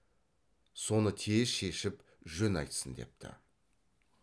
соны тез шешіп жөн айтсын депті